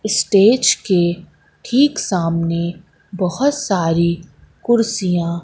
stage के ठीक सामने बहोत सारी कुर्सियां--